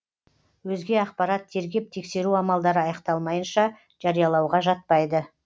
өзге ақпарат тергеп тексеру амалдары аяқталмайынша жариялауға жатпайды